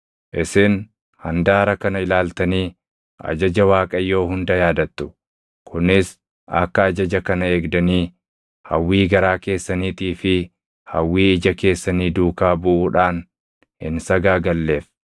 Isin handaara kana ilaaltanii ajaja Waaqayyoo hunda yaadattu; kunis akka ajaja kana eegdanii hawwii garaa keessaniitii fi hawwii ija keessanii duukaa buʼuudhaan hin sagaagalleef.